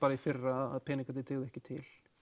í fyrra að peningarnir dygðu ekki til